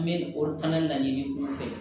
N bɛ olu fana laɲini u fɛ